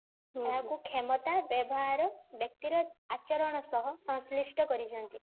ଏହାକୁ କ୍ଷମତା ବ୍ୟବହାର ବ୍ୟକ୍ତି ର ଆଚରଣ ସହ ସଂଶ୍ଳିଷ୍ଠ କରିଚନ୍ତି